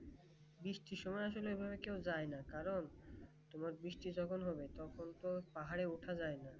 বৃষ্টির সময় আসোলে কেউ যায় না কারণ তোমার বৃষ্টি যখন হবে তখন তো পাহাড়ে ওঠা যায় না